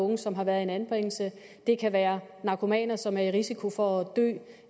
og unge som har været i en anbringelse det kan være narkomaner som er i risiko for